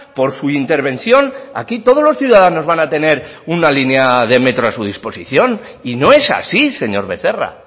por su intervención aquí todos los ciudadanos van a tener una línea de metro a su disposición y no es así señor becerra